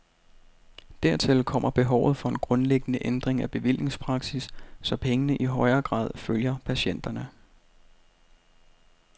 Dertil kommer behovet for en grundlæggende ændring af bevillingspraksis, så pengene i højere grad følger patienterne.